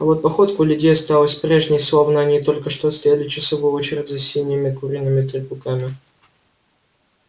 а вот походка у людей осталась прежней словно они только что отстояли часовую очередь за синими куриными трупиками